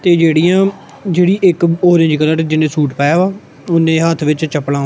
ਤੇ ਜੇਹੜੀਆਂ ਜੇਹੜੀ ਇੱਕ ਔਰੇਂਜ ਕਲਰ ਦਾ ਜਿਹਨੇਂ ਸੂਟ ਪਾਇਆ ਹੋਇਆ ਓਹਨੇ ਹੱਥ ਵਿੱਚ ਚੱਪਲਾਂ।